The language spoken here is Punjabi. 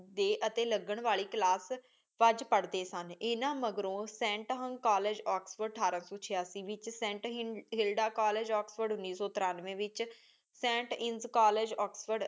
ਟੀ ਅਤੀ ਲਗਣ ਵਾਲੀ ਕਲਾਸ ਬੜਦੇ ਪਾਰ੍ਹ੍ਡੀ ਸਨ ਇੰਨਾ ਮਗਰੋਂ ਸੈਂਟ ਹੁੰਗ ਕੋਲ੍ਲੇਗੇ ਓਕ੍ਸ੍ਫੋਰਡ ਅਥਾਰ ਸੂ ਚਿਯਾਸੀ ਵਿਚ ਸੇੰਟ ਹਿਲਡਾ ਕਾਲੇਜ ਉਨੀ ਸੂ ਤ੍ਰਾਂਵ੍ਯ ਵਿਚ ਸੈਂਟ ਇੰਸਕਾਲੇਜ ਓਕ੍ਸ੍ਫੋਰਡ